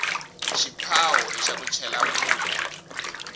xiphawo ixa ku chela mupu